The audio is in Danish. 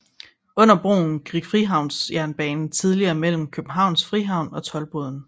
Under broen gik Frihavnsjernbanen tidligere mellem Københavns Frihavn og Toldboden